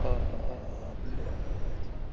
блять